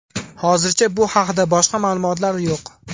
Hozircha bu haqda boshqa ma’lumotlar yo‘q.